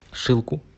шилку